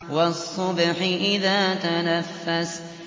وَالصُّبْحِ إِذَا تَنَفَّسَ